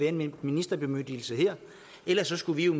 en ministerbemyndigelse her ellers skulle vi jo